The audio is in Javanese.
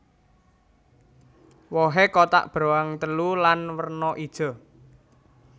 Wohé kotak beruang telu lan werna ijo